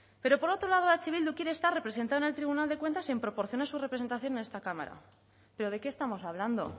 pero por otro lado eh bildu quiere estar representado en el tribunal de cuentas en proporción a su representación en esta cámara pero de qué estamos hablando